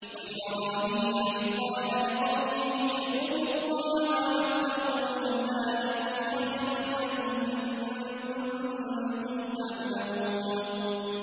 وَإِبْرَاهِيمَ إِذْ قَالَ لِقَوْمِهِ اعْبُدُوا اللَّهَ وَاتَّقُوهُ ۖ ذَٰلِكُمْ خَيْرٌ لَّكُمْ إِن كُنتُمْ تَعْلَمُونَ